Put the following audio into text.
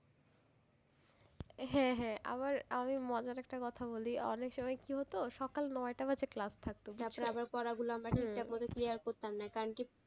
হ্যাঁ হ্যাঁ আবার আমি মজার একটা কথা বলি অনেক সময় কি হতো সকাল নয়টা বাজে class থাকতো তারপরে আবার পড়া গুলো আমাদের ঠিকঠাক মতো clear করতামনা কারন কি,